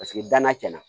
Paseke danna tiɲɛna